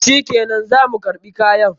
Shikenan, za mu karɓi kayan.